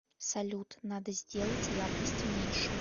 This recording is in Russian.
салют надо сделать яркость меньше